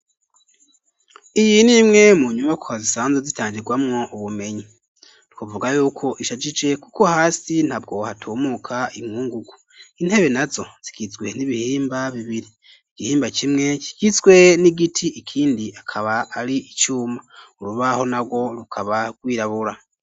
Iyi ni imwe, mu nyumakwa, zisanzwe zitangirwamwo ubumenyi; twovuga y'uko ishajije, kuko hasi, ntabwo hatumuka, inkungugu; intebe nazo, zigizwe n'ibihimba bibiri, igihimba kimwe kigizwe n'igiti, ikindi akaba ari icuma; urubaho narwo, rukaba rwirabura.